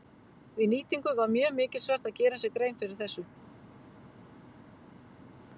Við nýtingu var mjög mikilsvert að gera sér grein fyrir þessu.